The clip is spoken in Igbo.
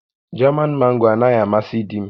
Jaman Mango anaghị amasị di m